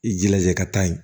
I jilaja i ka taa yen